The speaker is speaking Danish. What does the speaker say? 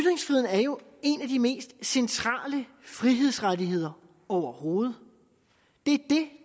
er jo en af de mest centrale frihedsrettigheder overhovedet det